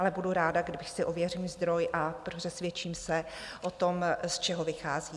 Ale budu ráda, když si ověřím zdroj a přesvědčím se o tom, z čeho vychází.